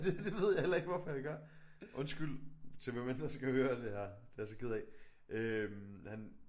Det det ved jeg heller ikke hvorfor jeg gør. Undskyld til hvem end der skal høre det her det jeg altså ked af øh han